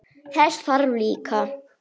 Þess þarf líka.